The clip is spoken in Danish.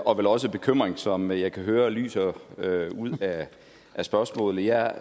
og vel også bekymring som jeg kan høre lyser ud af spørgsmålet jeg